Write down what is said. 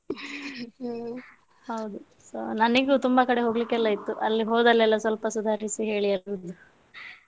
ಹ್ಮ್ ಹೌದು, so ನನಿಗೂ ತುಂಬಾ ಕಡೆ ಹೋಗ್ಲಿಕ್ಕೆ ಎಲ್ಲ ಇತ್ತು ಅಲ್ಲಿ ಹೋದಲೆಲ್ಲಾ ಸ್ವಲ್ಪ ಸುಧಾರಿಸಿ ಹೇಳಿಬಿಡುದು.